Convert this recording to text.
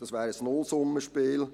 Das wäre ein Nullsummenspiel.